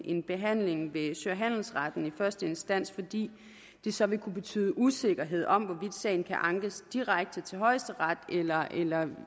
en behandling ved sø og handelsretten i første instans fordi det så vil kunne betyde usikkerhed om hvorvidt sagen kan ankes direkte til højesteret eller